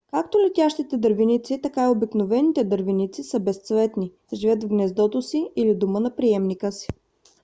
както летящите дървеници така и обикновените дървеници са безцветни живеят в гнездото или дома на приемника си